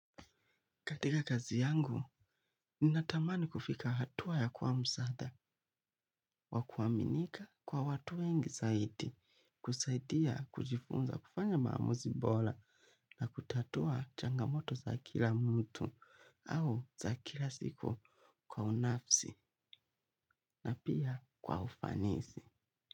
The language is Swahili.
Katika kazi yangu, ni natamani kufika hatua ya kwa msada wa kuaminika kwa watu wengi saidi, kusaidia kujifunza kufanya maamuzibola na kutatua changamoto za kila mtu au za kila siku kwa unafsi na pia kwa ufanisi.